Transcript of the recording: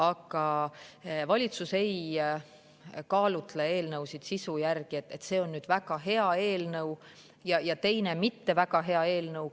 Aga valitsus ei kaalutle eelnõusid sisu järgi, et see on väga hea eelnõu ja teine mitte väga hea eelnõu.